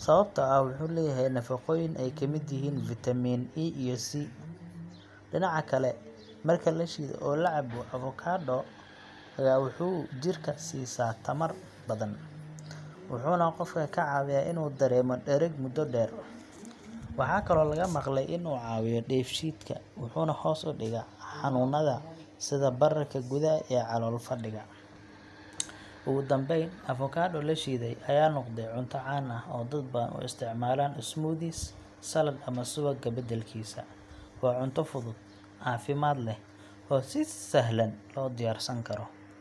sababtoo ah wuxuu leeyahay nafaqooyin ay ka mid yihiin vitamin E iyo C. Dhinaca kale, marka la shiido oo la cabbo, avocado ga wuxuu jirka siisaa tamar badan, wuxuuna qofka ka caawiyaa inuu dareemo dhereg muddo dheer. Waxaa kaloo laga maqlay in uu caawiyo dheefshiidka, wuxuuna hoos u dhigaa xanuunada sida bararka gudaha iyo calool-fadhiga. Ugu dambeyn, avocado la shiiday ayaa noqday cunto caan ah oo dad badan u isticmaalaan smoothies, salad ama subagga badalkiisa. Waa cunto fudud, caafimaad leh, oo si sahlan loo diyaarsan karo.